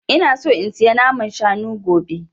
Ina so in saya naman shanu gobe